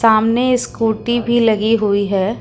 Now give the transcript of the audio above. सामने स्कूटी भी लगी हुई है।